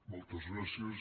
moltes gràcies